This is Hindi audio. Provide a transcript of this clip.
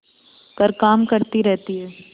पर काम करती रहती है